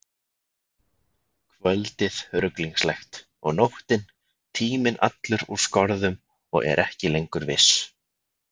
Kvöldið ruglingslegt, og nóttin, tíminn allur úr skorðum og er ekki lengur viss.